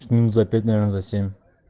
минут за пять наверно за семь